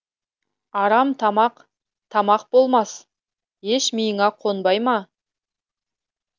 арам тамақ тамақ болмас еш миыңа қонбай ма